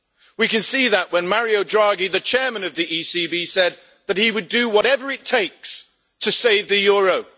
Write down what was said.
We could see that when Mario Draghi, the chairman of the ECB, said that he would do whatever it takes' to save the euro.